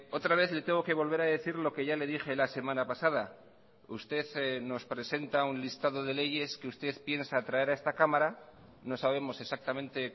otra vez le tengo que volver a decir lo que ya le dije la semana pasada usted nos presenta un listado de leyes que usted piensa traer a esta cámara no sabemos exactamente